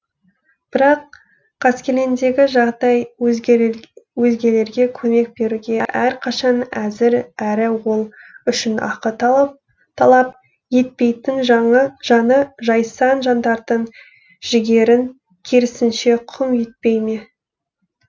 бірақ қаскелеңдегі жағдай өзгелерге көмек беруге әрқашан әзір әрі ол үшін ақы талап етпейтін жаны жайсаң жандардың жігерін керісінше құм етпей ме